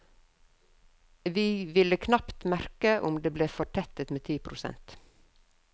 Vi ville knapt merke om det ble fortettet med ti prosent.